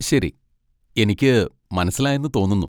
ശരി, എനിക്ക് മനസ്സിലായെന്ന് തോന്നുന്നു.